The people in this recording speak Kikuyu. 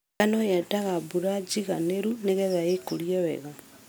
Ngano yendaga mbura njiganĩru nĩgetha ĩkũre wega.